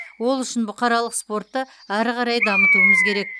ол үшін бұқаралық спортты ары қарай дамытуымыз керек